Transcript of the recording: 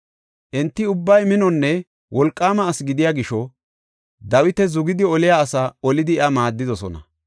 Enti ubbay minonne wolqaama asi gidiya gisho Dawita zugidi oliya asaa olidi iya maaddidosona.